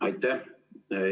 Aitäh!